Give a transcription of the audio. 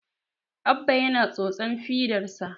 Abba yana tsotsan fidarsa